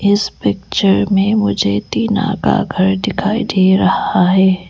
इस पिक्चर में मुझे टीना का घर दिखाई दे रहा है।